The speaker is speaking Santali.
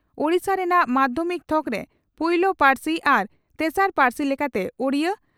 ᱳᱰᱤᱥᱟ ᱨᱮᱱᱟᱜ ᱢᱟᱫᱷᱭᱚᱢᱤᱠ ᱛᱷᱚᱠᱨᱮ ᱯᱩᱭᱞᱳ ᱯᱟᱨᱥᱤ ᱟᱨ ᱛᱮᱥᱟᱨ ᱯᱟᱨᱥᱤ ᱞᱮᱠᱟᱛᱮ ᱩᱰᱤᱭᱟᱹ